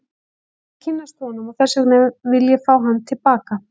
Ég vil kynnast honum og þess vegna vil ég fá hann til baka.